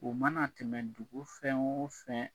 O mana tɛmɛ dugu fɛn o fɛn